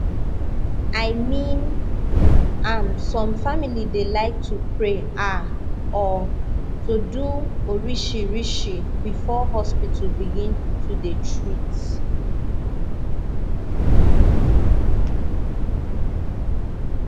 i mean am some family dey like to pray ah or to do orishirishi before hospital begin to dey treat